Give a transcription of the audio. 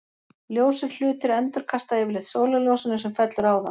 Ljósir hlutir endurkasta yfirleitt sólarljósinu sem fellur á þá.